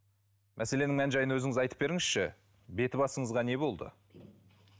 мәселенің мән жайын өзіңіз айтып беріңізші беті басыңызға не болды